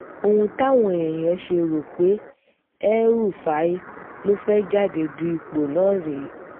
ohun táwọn èèyàn ṣe rò pé el-rufai ló fẹ́ẹ́ jáde du ipò náà rèé